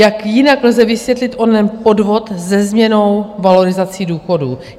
Jak jinak lze vysvětlit onen podvod se změnou valorizací důchodů?